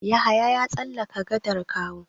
Yahaya ya tsallaka gadar Kawo.